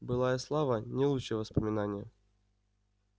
былая слава не лучшее воспоминание